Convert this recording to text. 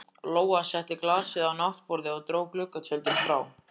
Lóa setti glasið á náttborðið og dró gluggatjöldin frá.